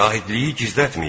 Şahidliyi gizlətməyin.